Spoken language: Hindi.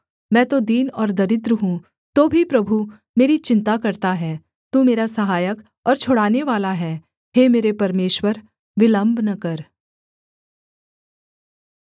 मैं तो दीन और दरिद्र हूँ तो भी प्रभु मेरी चिन्ता करता है तू मेरा सहायक और छुड़ानेवाला है हे मेरे परमेश्वर विलम्ब न कर